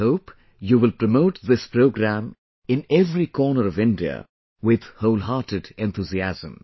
I hope you will promote this programme in every corner of India with wholehearted enthusiasm